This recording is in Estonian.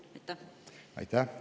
Aitäh!